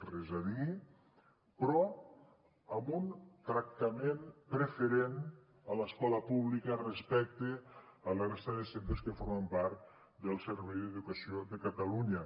res a dir però amb un tractament preferent a l’escola pública respecte a la resta de centres que formen part del servei d’educació de catalunya